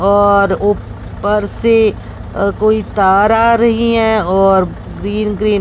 और ऊपर से अह कोई तार रही हैं और ग्रीन ग्रीन --